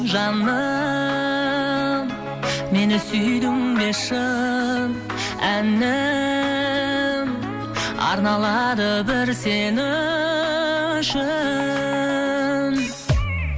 жаным мені сүйдің бе шын әнім арналады бір сен үшін